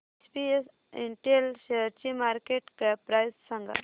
SPS Intel शेअरची market cap price सांगा